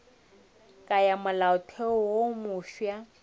ya molaotheo wo mofsa e